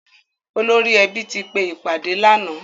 Olórí ẹbí ti pe ìpàdé lànáà.